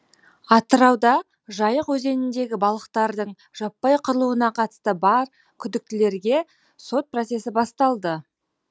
атырауда жайық өзеніндегі балықтардың жаппай қырылуына қатысты бар күдіктілерге сот процесі басталды